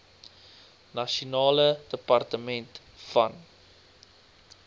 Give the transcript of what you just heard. nasionale departement van